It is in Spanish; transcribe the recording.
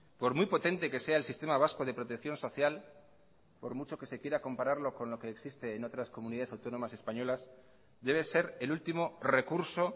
por muy potente que sea el sistema vasco de protección social por mucho que se quiera compararlo con lo que existe en otras comunidades autónomas españolas debe ser el último recurso